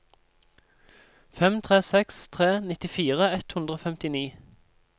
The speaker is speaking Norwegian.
fem tre seks tre nittifire ett hundre og femtini